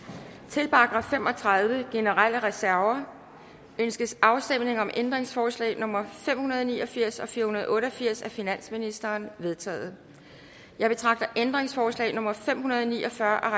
til § fem og tredive generelle reserver ønskes afstemning om ændringsforslag nummer fem hundrede og ni og firs og fire hundrede og otte og firs af finansministeren de er vedtaget jeg betragter ændringsforslag nummer fem hundrede og ni og fyrre af